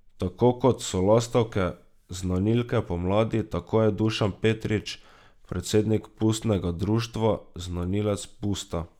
Tako kot so lastovke znanilke pomladi, tako je Dušan Petrič, predsednik pustnega društva, znanilec pusta.